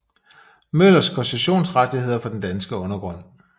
Møllers koncessionsrettigheder for den danske undergrund